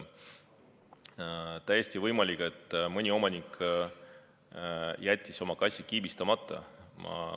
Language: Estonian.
Täiesti võimalik, et mõni omanik jättis oma kassi kiibistamata.